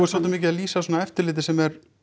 svolítið mikið að lýsa svona eftirliti sem er